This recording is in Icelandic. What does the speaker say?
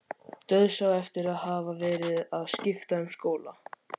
Dauðsá eftir að hafa verið að skipta um skóla.